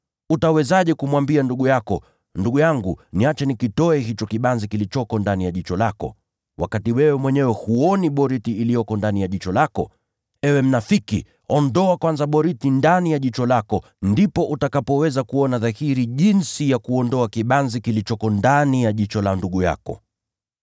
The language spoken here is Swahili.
Utawezaje kumwambia ndugu yako, ‘Ndugu yangu, acha nitoe kibanzi kilicho ndani ya jicho lako,’ wakati wewe mwenyewe huoni boriti iliyo ndani ya jicho lako? Ewe mnafiki, ondoa boriti ndani ya jicho lako kwanza, ndipo utaweza kuona dhahiri jinsi ya kuondoa kibanzi kilicho ndani ya jicho la ndugu yako.